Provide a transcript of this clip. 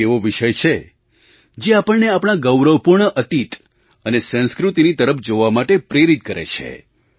આ એક એવો વિષય છે જે આપણને આપણા ગૌરવપૂર્ણ અતીત અને સંસ્કૃતિની તરફ જોવા માટે પ્રેરિત કરે છે